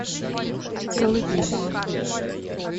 колыбельная